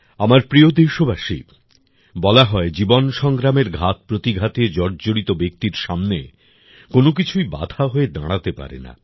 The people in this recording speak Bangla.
আমার প্রিয় দেশবাসী বলা হয় জীবন সংগ্রামের ঘাতপ্রতিঘাতে জর্জরিত ব্যক্তির সামনে কোনোকিছুই বাধা হয়ে দাঁড়াতে পারে না